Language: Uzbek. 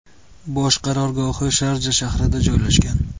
Bosh qarorgohi Sharja shahrida joylashgan.